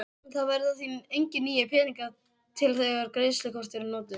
Það verða því engir nýir peningar til þegar greiðslukort eru notuð.